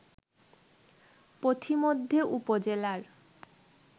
পথিমধ্যে উপজেলার